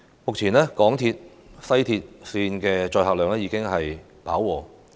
目前，港鐵西鐵線的載客量已屆飽和。